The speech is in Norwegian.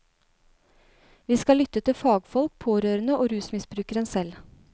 Vi skal lytte til fagfolk, pårørende og rusmisbrukerne selv.